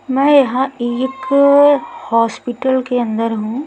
मैं यहां एक हॉस्पिटल के अंदर हूं।